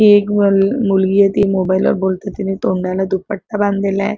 ही एक मुल मुलगीये ती मोबाइल वर बोलतीय तिनी तोंडाला दुपट्टा बांधलेलाय.